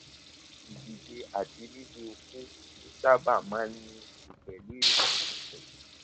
ìdìde àti líle okó ló sábà máa ń ní í ṣe pẹlú ìrònú rẹ